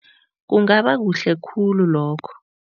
Kungabakuhle khulu lokho.